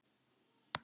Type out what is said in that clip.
Þetta var þá